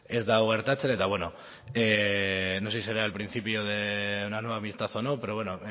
ez da hau gertatzen eta bueno no sé si será el principio de una nueva amistad o no pero